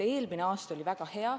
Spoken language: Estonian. Eelmine aasta oli väga hea.